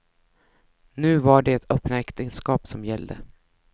Nu var det öppna äktenskap som gällde.